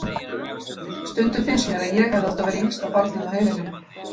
Stundum finnst mér að ég hefði átt að vera yngsta barnið á heimilinu.